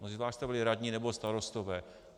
Mnozí z vás jste byli radní nebo starostové.